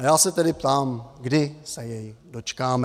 A já se tedy ptám, kdy se jej dočkáme.